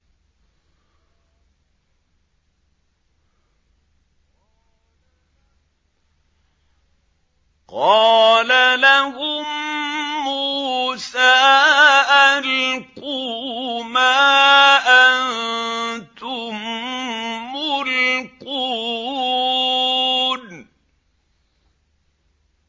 قَالَ لَهُم مُّوسَىٰ أَلْقُوا مَا أَنتُم مُّلْقُونَ